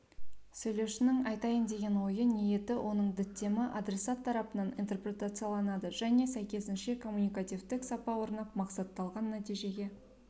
сөйлеушінің айтайын деген ойы ниеті оның діттемі адресат тарапынан интерпретацияланады және сәйкесінше коммуникативтік сапа орнап мақсатталған нәтижеге